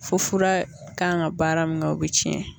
Fo fura kan ka baara min kɛ o bɛ tiɲɛ